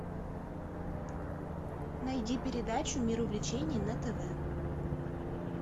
найди передачу мир увлечений на тв